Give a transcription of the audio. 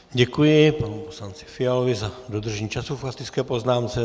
Děkuji panu poslanci Fialovi za dodržení času k faktické poznámce.